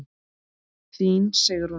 Þín Sigrún.